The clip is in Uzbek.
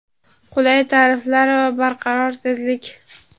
qulay tariflar va barqaror tezlik!.